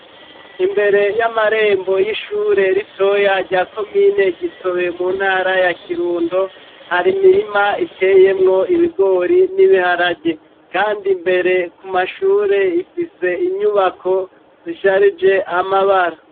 Imbere y'amarembo y'ishure ritoya rya komine Gitobe mu ntara ya Kirundo hari imirima iteyemwo ibigori n'ibiharage, kandi imbere ku mashure ifise inyubako zisharije amabara.